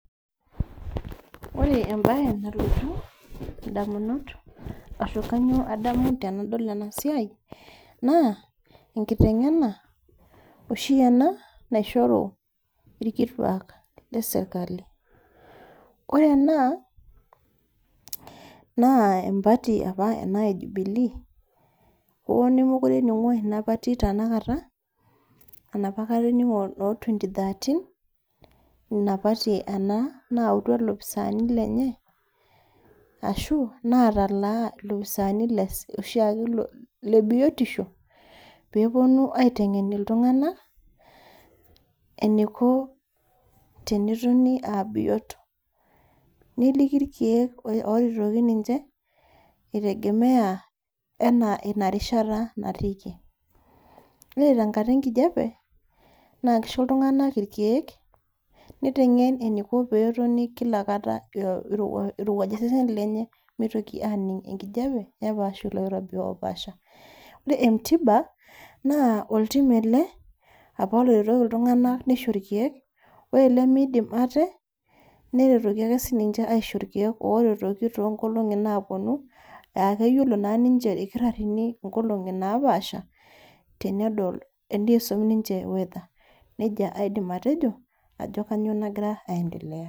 Ore embaye nalotu indamunot aashu kanyoo adamu tenadol ena siai, naa enkiteng'ena oshi ena naishoru ilkitua le serkali. Ore ena naa empati opa ena e Jubilee, oo nemekure ening'o ina toki tena kata, enopa kata ening'o noo twenty-thirteen, ina pati ena nayautua ilopisani lenye, ashu natalaa oloopisani looshiake le biotisho, pee epuonu aiteng'en iltung'ana eneiko tenetoni aa biot, neliki ilkeek oretoki ninche, eitegemea ana ina rishata natiiki. Ore tenkata e nkijape, naa keisho iltunng'ana ilkeek, neiteng'en eneiko pee etoni kila kata eirowueja osesen lenye meitoki aaning' enkijape, nepaashu ilo kirobi opaasha. Ore entiba naa oltim ele opa oretoki iltung'anak neisho ilkeek, ore ilemeidim aate neretoki ake sii ninche aisho ilkeek too inkolong'i naapuonu, aa keyiolo naake ninche ilkitarini inkolong'i napaasha tenedol anaa eisum ninche weather, neija aidim atejo ajo kainyoo nagira aendelea.